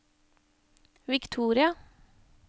Victoria